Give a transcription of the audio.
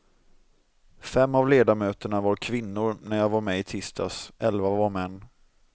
Fem av ledamöterna var kvinnor när jag var med i tisdags, elva var män.